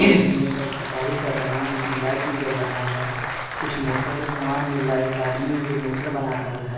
इसमें सब खरीदारी कर रहे हैं इसमें लाइट भी जल रहा है कुछ मोटर का सामान मिल रहा है एक आदमी है जो मोटर बना रहल है।